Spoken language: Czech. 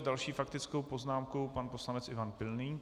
S další faktickou poznámkou pan poslanec Ivan Pilný.